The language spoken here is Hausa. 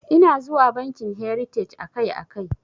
Ina zuwa bankin heritaj akai akai.